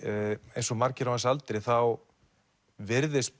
eins og margir á hans aldri þá virðist